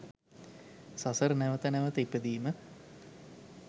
සසර නැවත නැවත ඉපදීම